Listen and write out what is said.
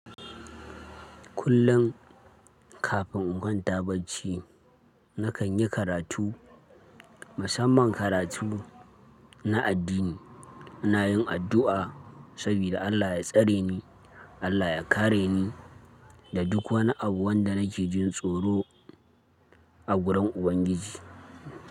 Kullum kafin in kwanta bacci, na kan yi karatu, musamman karatu na addini. Ina yin addu'a saboda Allah ya tsare ni, Allah ya kare ni da duk wani abu wanda nake jin tsoro a wurin Ubangiji.